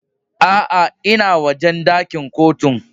Aa, n'na wojen dakin Kotun.